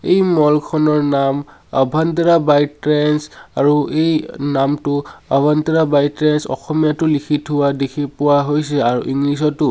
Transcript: এই মল খনৰ নাম আভাণ্ট্ৰা বাই ট্ৰেণ্ডচ আৰু এই নামটো আভাণ্ট্ৰা বাই ট্ৰেণ্ডচ অসমীয়াতো লিখি থোৱা দেখি পোৱা হৈছে আৰু ইংলিছ তো।